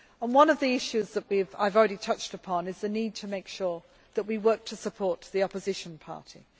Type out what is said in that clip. One of the issues that I have already touched upon is the need to make sure that we work to support the opposition parties.